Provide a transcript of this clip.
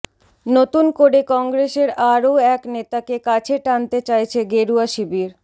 নতুন করে কংগ্রেসের আরও এক নেতাকে কাছে টানতে চাইছে গেরুয়া শিবির